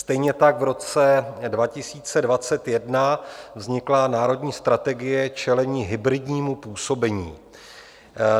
Stejně tak v roce 2021 vznikla Národní strategie čelení hybridnímu působení.